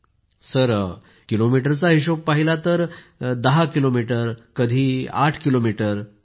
Poonam Nautiyal sir किलोमीटरचा हिशोब पाहिला तर 10 किलोमीटर तर कधी 8 किलोमीटर